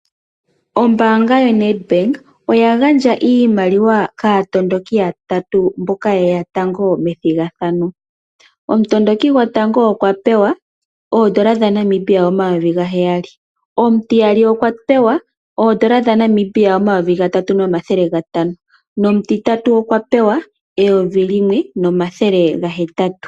Ombaanga yoNetbank oya gandja iimaliwa kaatondoki yatatu mboka yeya tango methigathano. Omutondoki gotango okwa pewa N$ 7000.00, omutiyali okwa pewa N$3500.00 nomutitatu okwapewa N$1800.00.